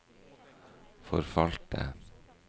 forfalte